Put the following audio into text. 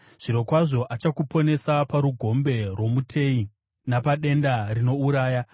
Zvirokwazvo achakuponesa parugombe rwomuteyi napadenda rinouraya.